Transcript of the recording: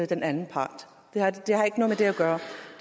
den anden part det har ikke noget med det at gøre